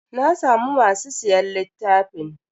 Na samu masu siyan littafin.